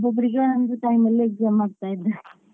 ಒಬ್ಬೊಬ್ರಿಗೆ ಒಂದೊಂದು time ಅಲ್ಲಿ exam ಮಾಡ್ತಾ ಇದ್ದಾರೆ.